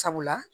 Sabula